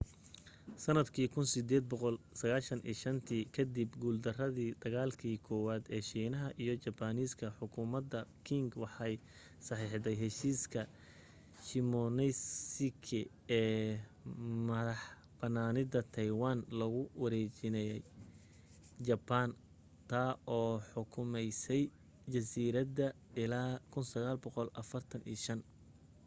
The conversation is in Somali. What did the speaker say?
sanaddii 1895tii kadib guurdaradii dagaalki koowaad ee shiinaha iyo jabaaniiska xukuumadda qing waxay saxiixday heshiiska shimonoseki ee madaxbanaanida taiwan loogu wareejinayay jabaan taa oo xukumaysay jasiiradda illaa 1945